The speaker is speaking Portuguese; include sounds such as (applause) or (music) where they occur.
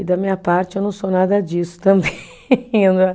E da minha parte, eu não sou nada disso também (laughs) né